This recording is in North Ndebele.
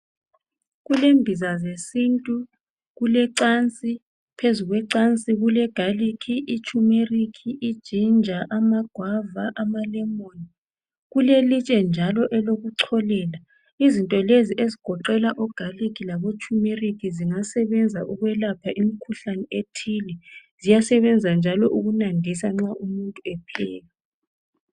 Kulembiza zesintu kulecansi phezu kwecansi kulegarlic kulechumeric iginger amagwava amalemon kulelitshe njalo elokucholela izinto lezi njalo ezigoqela ogarlic labo chimeric zingasebenza ukwelapha imikhuhlane ethile ziyasebenza njalo ukunandisa nxa umuntu epheka